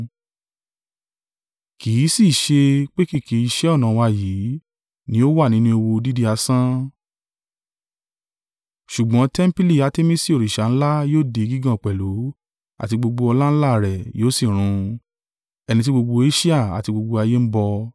Kì í sì ṣe pé kìkì iṣẹ́ ọnà wa yìí ni ó wà nínú ewu dídí asán; ṣùgbọ́n tẹmpili Artemisi òrìṣà ńlá yóò di gígàn pẹ̀lú, àti gbogbo ọláńlá rẹ̀ yóò sì run, ẹni tí gbogbo Asia àti gbogbo ayé ń bọ.”